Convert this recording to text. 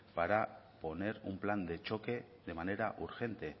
para poner un plan de choque de manera urgente